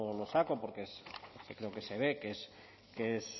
lo saco porque creo que se ve que es